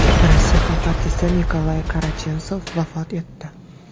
Rossiya xalq artisti Nikolay Karachensov vafot etdi.